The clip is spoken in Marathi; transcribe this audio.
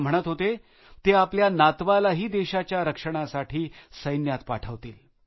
ते म्हणत होते ते आपल्या नातवालाही देशाच्या रक्षणासाठी सैन्यात पाठवतील